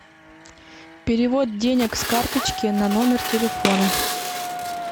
перевод денег с карточки на номер телефона